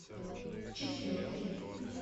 четвертый